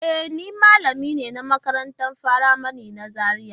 E, ni malamin makarantar firamari ne a Zariya.